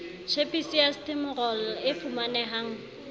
tjhepisi ya stimorol e fumanehang